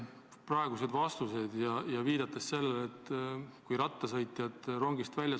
Rattaga sõitjaid surutakse praegu rongist välja.